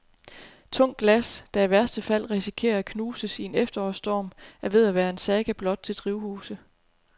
Tungt glas, der i værste fald risikerer at knuses i en efterårsstorm, er ved at være en saga blot til drivhuse.